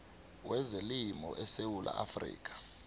wezelimo esewula afrika